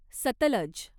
Sutlej